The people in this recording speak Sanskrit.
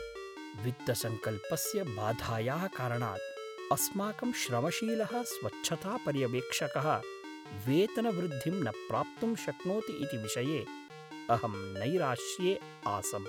वित्तसंकल्पस्य बाधायाः कारणात् अस्माकं श्रमशीलः स्वच्छतापर्यवेक्षकः वेतनवृद्धिं न प्राप्तुं शक्नोति इति विषये अहं नैराश्ये आसम्।